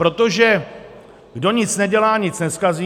Protože kdo nic nedělá, nic nezkazí.